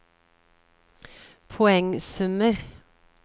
poengsummer